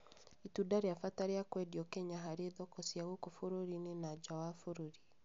Nĩ itunda rĩa bata rĩa kwendio Kenya harĩ thoko cia gũkũ bũrũri-inĩ na nja wa bũrũri